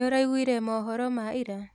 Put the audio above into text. Nĩũraiguire mohoro ma ira?